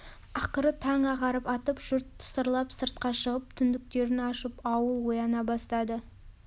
ақыры таң ағарып атып жұрт тысырлап сыртқа шығып түндіктерін ашып ауыл ояна бастады